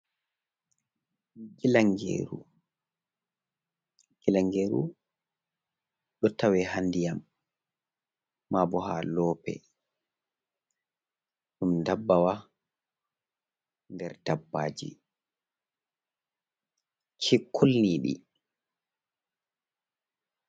Gilangeru. Gilangeru ɗo tawe ha nɗiyam, mabo ha loope. Ɗum ɗabbawa nɗer ɗabbaji kikulniɗi.